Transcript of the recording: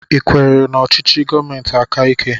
I kwechiri n'ọchịchị gọọmentị aka ike?